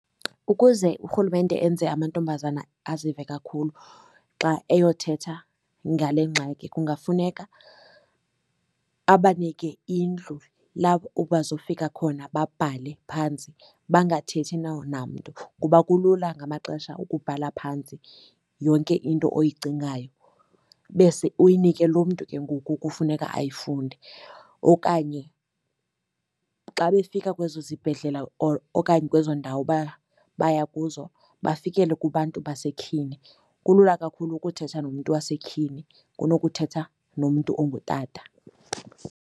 Ukuze urhulumente enze amantombazana azive kakhulu xa eyothetha ngale ngxaki kungafuneka abanike indlu bazofika khona babhale phantsi bangathethi namntu, kuba kulula ngamaxesha ukubhala phantsi yonke into oyicingayo bese uyinike lo mntu ke ngoku kufuneka ayifunde. Okanye xa befika kwezo zibhedlela okanye kwezo ndawo baya kuzo bafikele kubantu basetyhini. Kulula kakhulu ukuthetha nomntu wasetyhini kunokuthetha nomntu ongutata.